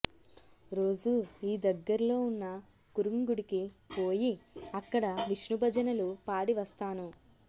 రోజూ ఈ దగ్గర్లో ఉన్న కురుంగుడికి పోయి అక్కడ విష్ణుభజనలు పాడి వస్తాను